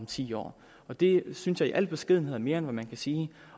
ti år det synes jeg i al beskedenhed er mere end man kan sige